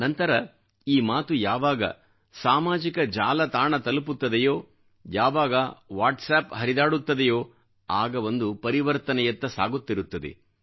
ನಂತರ ಈ ಮಾತು ಯಾವಾಗ ಸಾಮಾಜಿಕ ಜಾಲತಾಣ ತಲುಪುತ್ತದೆಯೋ ಯಾವಾಗ ವಾಟ್ಸ್ ಅಪ್ ಹರಿದಾಡುತ್ತದೆಯೋ ಆಗ ಒಂದು ಪರಿವರ್ತನೆಯತ್ತ ಸಾಗುತ್ತಿರುತ್ತದೆ